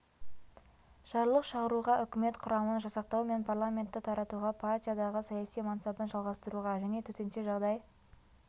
жарлық шығаруға үкімет құрамын жасақтау мен парламентті таратуға партиядағы саяси мансабын жалғастыруға және төтенше жағдай